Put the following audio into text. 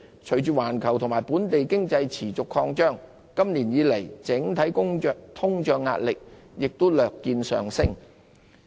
隨着環球和本地經濟持續擴張，今年以來整體通脹壓力亦略見上升。